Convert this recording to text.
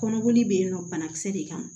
Kɔnɔboli bɛ yen nɔ banakisɛ de kama